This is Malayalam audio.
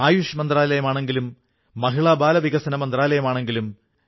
അദ്ദേഹം ഭാരതീയ മനസ്സുകളിൽ വൈവിധ്യത്തിൽ ഏകത്വത്തിന്റെ മന്ത്രം ഉണർത്തുകയായിരുന്നു